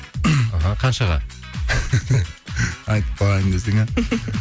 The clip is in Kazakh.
қаншаға айтпаймын десең иә